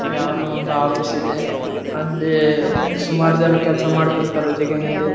ಈ ಚಿತ್ರ ನೋಡಬಹುದಾದರೆ ಆಕಾಶ ನೀಲಿ ಮತ್ತು ಬಿಳಿಯ ಬಣ್ಣ ದಾಗಿದೆ.